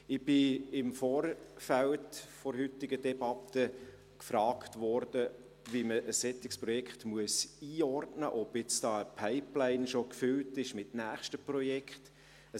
Ich wurde im Vorfeld der heutigen Debatte gefragt, wie man ein solches Projekt einordnen müsse und ob da schon eine Pipeline mit weiteren Projekten gefüllt sei.